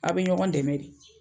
Aw be ɲɔgɔn dɛmɛ de